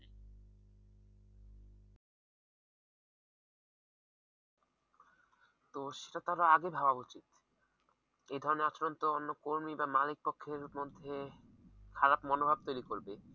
তো সেটা তাদের আগে ভাবা উচিত এ ধরনের আচরণ তো অন্য কর্মী বা মালিকপক্ষের মধ্যে খারাপ মনোভাব তৈরি করবে।